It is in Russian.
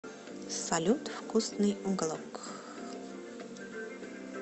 салют вкусный уголок